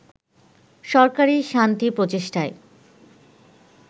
সরকারি শান্তি প্রচেষ্টায়